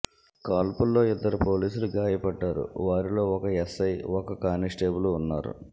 కాల్పుల్లో ఇద్దరు పోలీసులు గాయపడ్డారు వారిలో ఒక ఎస్సై ఒక కానిస్టేబుల్ ఉన్నారు